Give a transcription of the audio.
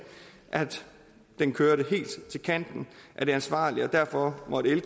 at den kørte helt til kanten af det ansvarlige og derfor måtte